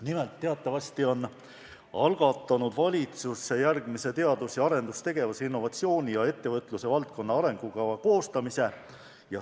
Nimelt, teatavasti on valitsus algatanud järgmise teadus- ja arendustegevuse, innovatsiooni ja ettevõtlusvaldkonna arengukava koostamise.